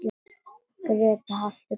Grétar halti, Grétar halti!